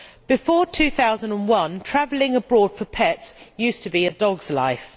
Before 2001, travelling abroad for pets used to be a dog's life.